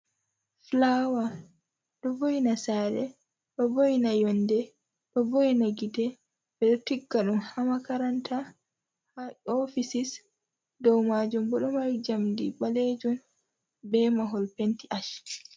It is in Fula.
fulawa ɗo vo'ina sare, ɗo vo'ina yonde, ɗo vo'ina gite. Ɓeɗo tigga ɗum ha makaranta, ha ofisis, dow majum bo ɗo mari jamdi ɓalejun be mahol penti ash.